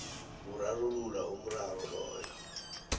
kurarulula umraro loyo